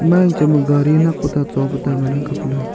ema yangchang ba gadi nakpa ta chopu ta ngan ang kapley.